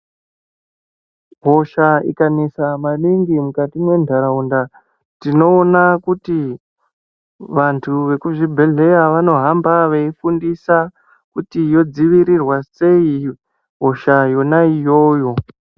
Hosha ikanesa maningi mukati mwentaraunda tinoona kuti vantu vekuzvibhehleya vanohamba veifundisa kuti yodzivirirwa sei hosha yona iyoyo.